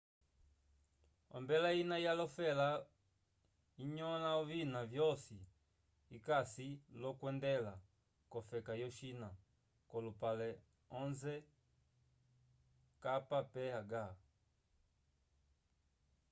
ombela ina ya lofela inyola ovina vyosi icasi lokwendela cofeka yo china colupale onze kph